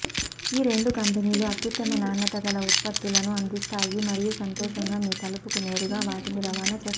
ఈ రెండు కంపెనీలు అత్యుత్తమ నాణ్యతగల ఉత్పత్తులను అందిస్తాయి మరియు సంతోషంగా మీ తలుపుకు నేరుగా వాటిని రవాణా చేస్తాయి